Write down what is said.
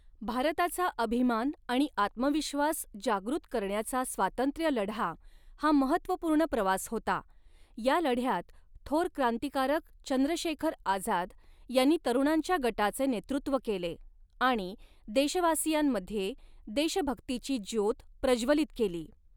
भारताचा अभिमान आणि आत्मविश्वास जागृत करण्याचा स्वातंत्र्यलढा हा महत्त्वपूर्ण प्रवास होता, या लढ्यात थोर क्रांतिकारक चंद्रशेखर आझाद, यांनी तरुणांच्या गटाचे नेतृत्त्व केले आणि देशवासियांमध्ये देशभक्तीची ज्योत प्रज्ज्वलित केली.